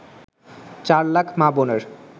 চার লাখ মা-বোনের